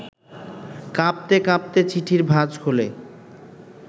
কাঁপতে কাঁপতে চিঠির ভাজ খুলে